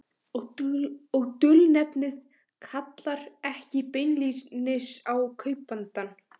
Og dulnefnið kallar ekki beinlínis á kaupandann.